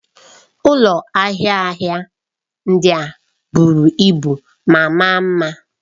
Ụlọ ahịa ahịa ndị a buru ibu ma maa mma.